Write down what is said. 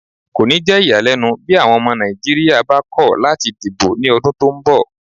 Kò ni jẹ́ iyalẹ́nu bí àwọn ọmọ Nàìjíríyà bá ko lati dìbò ni odun tó ń bọ̀